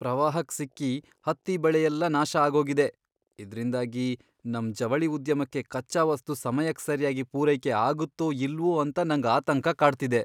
ಪ್ರವಾಹಕ್ ಸಿಕ್ಕಿ ಹತ್ತಿ ಬೆಳೆಯೆಲ್ಲ ನಾಶ ಆಗೋಗಿದೆ, ಇದ್ರಿಂದಾಗಿ ನಮ್ ಜವಳಿ ಉದ್ಯಮಕ್ಕೆ ಕಚ್ಚಾ ವಸ್ತು ಸಮಯಕ್ ಸರ್ಯಾಗಿ ಪೂರೈಕೆ ಆಗತ್ತೋ ಇಲ್ವೋ ಅಂತ ನಂಗ್ ಆತಂಕ ಕಾಡ್ತಿದೆ.